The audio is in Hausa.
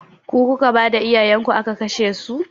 Ku kuka bada iyayenku aka kashesu?